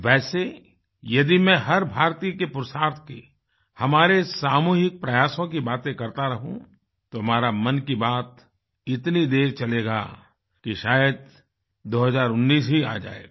वैसे यदि मैं हर भारतीय के पुरुषार्थ की हमारे सामूहिक प्रयासों की बाते करता रहूँ तो हमारा मन की बात इतनी देर चलेगा कि शायद 2019 ही आ जायेगा